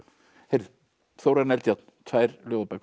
heyrðu Þórarinn Eldjárn tvær ljóðabækur